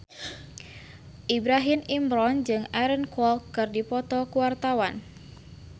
Ibrahim Imran jeung Aaron Kwok keur dipoto ku wartawan